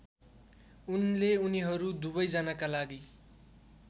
उनले उनीहरू दुवैजनाका लागि